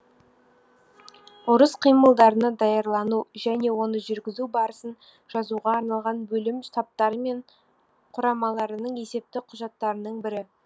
ұрыс қимылдарына даярлану және оны жүргізу барысын жазуға арналған бөлім штабтары мен құрамаларының есепті құжаттарының бірі